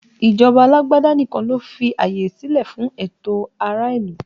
Ìjọba alágbádá nìkan ló fi àyè silẹ fún ẹtọ ará ìlú